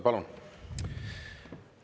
Palun!